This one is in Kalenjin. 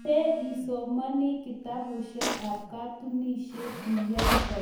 Metee isomani kitabushek ab katunishek iyae boishet